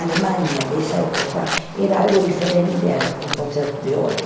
A Alemanha dessa época era algo diferente a um concerto de hoje.